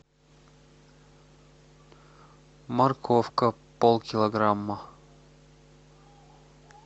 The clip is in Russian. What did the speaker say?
морковка полкилограмма